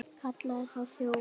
Kallaði þá þjófa.